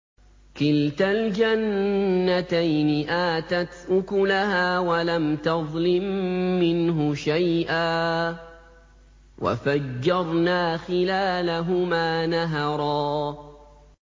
كِلْتَا الْجَنَّتَيْنِ آتَتْ أُكُلَهَا وَلَمْ تَظْلِم مِّنْهُ شَيْئًا ۚ وَفَجَّرْنَا خِلَالَهُمَا نَهَرًا